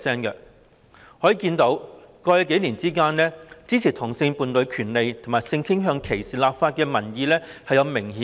由此可見，在過去數年間，支持同性伴侶權利及性傾向歧視立法的民意有明顯增長。